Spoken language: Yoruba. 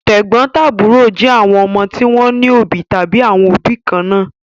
Tẹ̀gbọ́ntàbúrò jẹ́ àwọn ọmọ tí wọ́n ní òbí tàbí àwọn òbí kan náà.